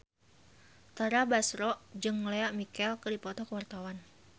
Tara Basro jeung Lea Michele keur dipoto ku wartawan